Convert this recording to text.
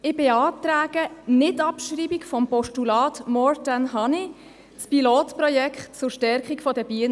Ich beantrage Nicht-Abschreibung des Postulats «More than Honey» das Pilotprojekt zur Stärkung der Bienen.